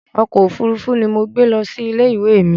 Ọkọ̀ òfuurufú ni mo gbé lọ ilé ìwé mi